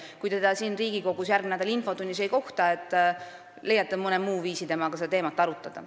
Kui te teda siin Riigikogus järgmise nädala infotunnis ei kohta, siis ehk leiate mõne muu viisi temaga seda teemat arutada.